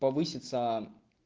повысится